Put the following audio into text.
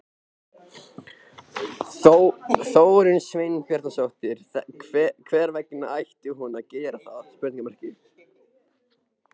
Þórunn Sveinbjarnardóttir: Hvers vegna ætti hún að gera það?